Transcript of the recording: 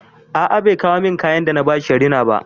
A a bai kawo min kayan da na ba shi ya rina ba.